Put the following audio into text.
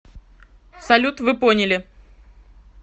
салют вы поняли